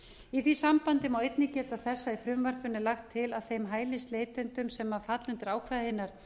í því sambandi má einnig geta þess að í frumvarpinu er lagt til að þeim hælisleitendum sem falla undir ákvæði hinnar